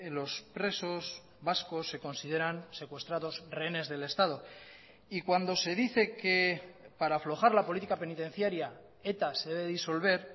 los presos vascos se consideran secuestrados rehenes del estado y cuando se dice que para aflojar la política penitenciaria eta se debe disolver